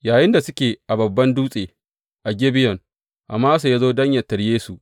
Yayinda suke a babban dutse a Gibeyon, Amasa ya zo don yă tarye su.